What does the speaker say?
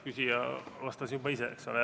Küsija vastas juba ise, eks ole.